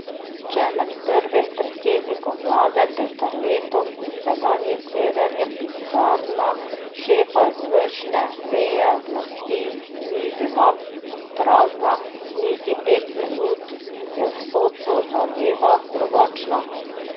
Če med prvim predsednikom vlade Peterletom in sedanjim Cerarjem pisarna šefa izvršne veje oblasti ni bila prazna niti pet minut, je v sodstvu zadeva drugačna.